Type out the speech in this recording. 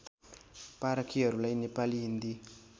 पारखिहरूलाई Nepali Hindi